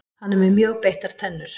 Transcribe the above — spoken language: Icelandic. Hann er með mjög beittar tennur.